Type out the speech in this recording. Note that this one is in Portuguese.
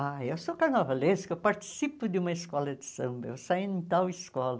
Ah, eu sou carnavalesco, eu participo de uma escola de samba, eu saí em tal escola.